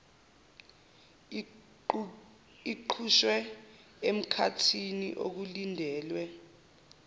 iqhutshwe emkhathini okulindelwe